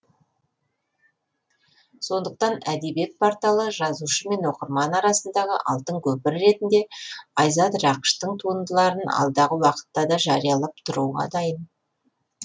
сондықтан әдебиет порталы жазушы мен оқырман арасындағы алтын көпір ретінде айзат рақыштың туындыларын алдағы уақытта да жариялап тұруға дайын